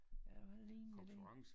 Ja hvad ligner det